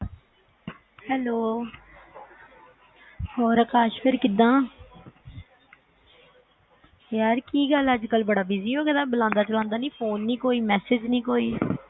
` hello ਹੋਰ ਅਕਾਸ਼ ਫਰ ਕਿਦਾਂ ਯਾਰ ਕੀ ਗੱਲ ਬੜਾ busy ਹੋਗਿਆ ਬਲੌਂਦਾ ਚਲੌਂਦਾ ਵੀ ਨੀ ਫੋਨ ਨੀ ਕੋਈ message ਨੀ ਕੋਈ